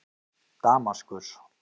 Damaskus